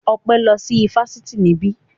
Ọpẹ́ lọ sí ifásitì níbí